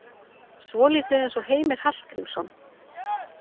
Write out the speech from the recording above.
Svolítið eins og Heimir Hallgrímsson.